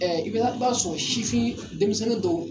Ɛɛ i b'a sɔrɔ si fin denmisɛnnin dɔw